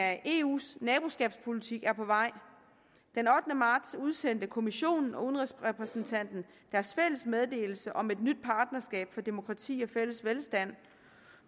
af eus naboskabspolitik er på vej den ottende marts udsendte kommissionen og udenrigsrepræsentanten deres fælles meddelelse om et nyt partnerskab for demokrati og fælles velstand